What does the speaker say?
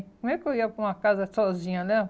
Como é que eu ia para uma casa sozinha, né?